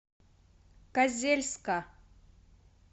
козельска